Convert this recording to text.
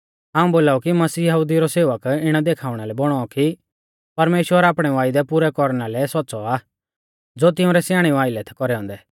हाऊं बोलाऊ कि मसीह यहुदिऊ रौ सेवक इणै देखाउणा लै बौणौ कि परमेश्‍वर आपणै वायदै पुरै कौरना लै सौच़्च़ौ आ ज़ो तिउंरै स्याणेऊ आइलै थै कौरै औन्दै